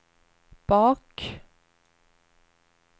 bak